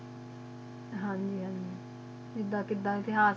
ਹਨ ਜੀ ਹਨ ਜੀ ਕਿਦਾਂ ਕਿਦਾਂ